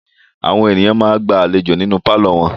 Àwọn ènìyàn máa ń gba àlejò nínú pálọ̀ wọn.